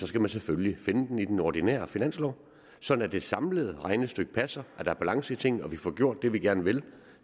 skal man selvfølgelig finde dem på den ordinære finanslov så det samlede regnestykke passer der er balance i tingene og vi får gjort det vi gerne vil